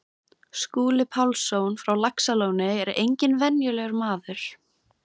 Skúli Pálsson frá Laxalóni er enginn venjulegur maður.